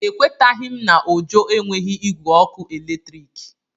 Ekwetaghị m na Ojo enweghị igwe ọkụ eletrik.